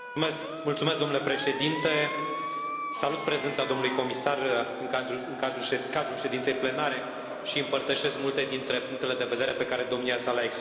Domnule președinte, salut prezența domnului comisar în cadrul ședinței plenare și împărtășesc multe dintre punctele de vedere pe care domnia sa le a exprimat.